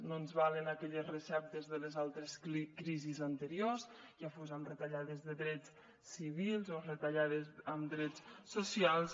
no ens valen aquelles receptes de les altres crisis anteriors ja fos amb retallades de drets civils o retallades en drets socials